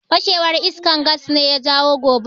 Fashewar iskar Gas ne ya jawo gobarar.